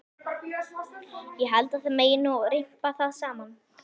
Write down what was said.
Ég held að það megi nú rimpa það saman.